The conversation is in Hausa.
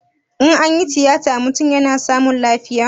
In anyi tiyata mutum yana samun lafiya?